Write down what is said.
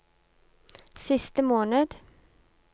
siste måned